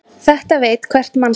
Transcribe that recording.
Þetta veit hvert mannsbarn.